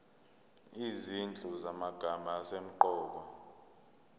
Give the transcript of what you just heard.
izinhlu zamagama asemqoka